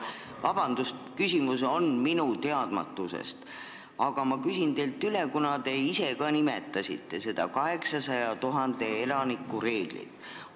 Vabandust, asi on minu teadmatuses, aga ma küsin teilt üle, kuna te ise ka nimetasite seda 800 000 elaniku reeglit.